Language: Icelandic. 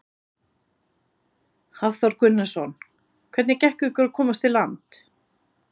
Hafþór Gunnarsson: Hvernig gekk ykkur að komast í land?